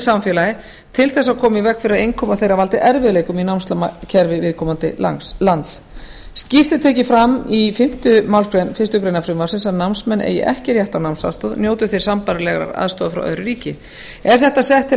samfélagið til þess að koma í veg fyrir að innkoma þeirra valdi erfiðleikum í námslánakerfi viðkomandi lands fjórða skýrt er tekið fram í fimmta málsgrein fyrstu grein frumvarpsins að námsmenn eigi ekki rétt á námsaðstoð njóti þeir sambærilegrar aðstoðar frá öðru ríki er þetta sett til